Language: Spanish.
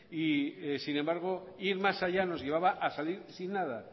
y sin embargo ir más allá nos llevaba a salir sin nada